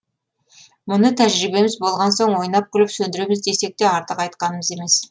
мұны тәжірибеміз болған соң ойнап күліп сөндіреміз десек те артық айтқанымыз емес